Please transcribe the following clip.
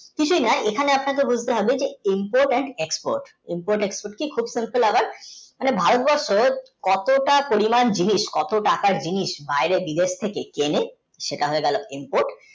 কিছুই না এখানে আপনাদের বলতে হবে যে export খুব মানে ভারতবর্ষের কতটা পরিমাণ জিনিস কত টাকা জিনিস বা বাইরে বিদেশ থেকে কেনে সেটা হয়ে গেল input